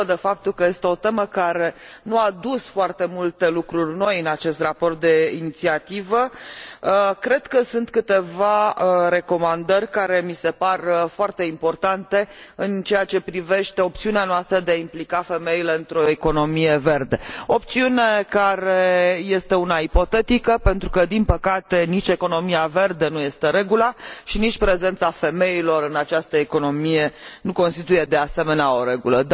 Dincolo de faptul că este o temă care nu a adus foarte multe lucruri noi în acest raport de inițiativă, cred că sunt câteva recomandări care mi se par foarte importante în ceea ce privește opțiunea noastră de a implica femeile într o economie verde, opțiune care este una ipotetică pentru că, din păcate, nici economia verde nu este regula, și nici prezența femeilor în această economie nu constituie, de asemenea, o regulă.